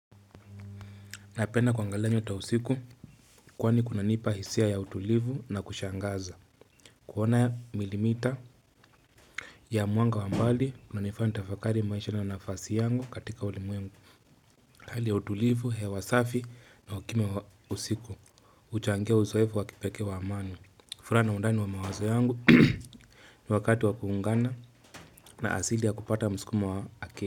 Napenda kuangia nyota usiku kwani kunanipa hisia ya utulivu na kushangaza. Kuona milimita ya mwanga wa mbali na unanifanya nitafakari maisha na nafasi yangu katika ulimwengu. Hali ya utulivu, hewa safi na ukimya wa usiku. Kuchangia uzoevu wa kipekee wa amani. Furaha na undani wa mawazo yangu ni wakati wakuungana na asili ya kupata mskuma wa aki.